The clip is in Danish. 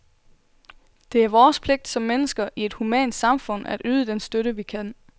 Det er vores pligt som mennesker i et humant samfund at yde den støtte, vi kan.